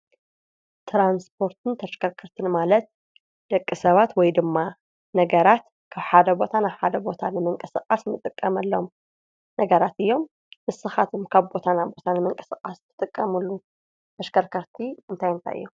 ትራንስፖርትን ተሽከርክርትን ማለት ደቂ ሰባት ወይ ድማ ነገራት ካብ ሓደ ቦታና ሓደ ቦታ ንምንቅስቓስ ንጥቀምሎም ነገራት እዮም፡፡ ንስኻትም ካብ ቦታና ቦታን ንምንቅስቓስ ትጥቀሙሉ ተሽከርከርቲ እንታይ እንታይ እዮም?